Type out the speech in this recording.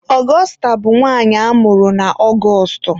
Augusta bụ aha nwanyị amụrụ na Ọgọstụ.